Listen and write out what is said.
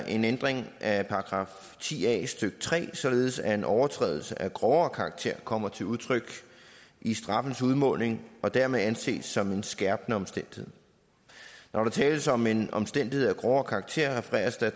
en ændring af § ti a stykke tre således at en overtrædelse af grovere karakter kommer til udtryk i straffens udmåling og dermed anses som en skærpende omstændighed når der tales om en omstændighed af grovere karakter refereres der